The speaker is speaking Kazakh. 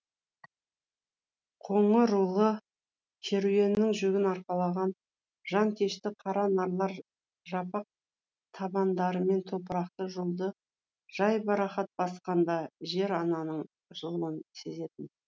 қоңырулы керуеннің жүгін арқалаған жанкешті қара нарлар жапақ табандарымен топырақты жолды жайбарақат басқанда жер ананың жылуын сезетін